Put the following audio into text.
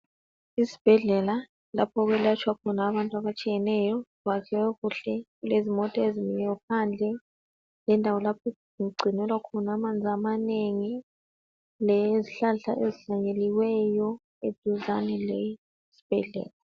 Isbhedlela lapho okwelatshwa khona abantu abatshiyeneyo. Kwakhiwe kuhle, kulezimota ezimiyo phandle, lendawo lapho okugcinelwa khona amanzi amanengi, lez'hlahla ezihlanyeliweyo